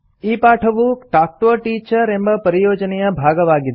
ಈ ಪಾಠವು talk to a teacher ಎಂಬ ಪರಿಯೋಜನೆಯ ಭಾಗವಾಗಿದೆ